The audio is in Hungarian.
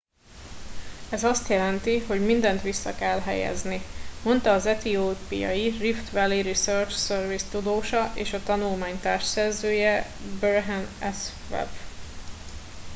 ez azt jelenti hogy mindent vissza kell helyezni - mondta az etiópiai rift valley research service tudósa és a tanulmány társszerzője berhane asfaw